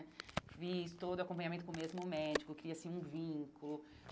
Fiz todo o acompanhamento com o mesmo médico, cria-se um vínculo.